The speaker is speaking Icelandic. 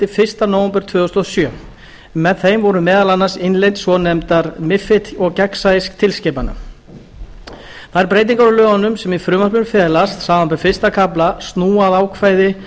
fyrsta nóvember tvö þúsund og sjö en með þeim voru meðal annars innleidd ákvæði svonefndra mifid og gagnsæistilskipana þær breytingar á lögunum sem í frumvarpinu felast samanber fyrstu kafla snúa að ákvæði